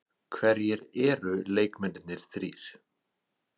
Hverjir eru leikmennirnir þrír?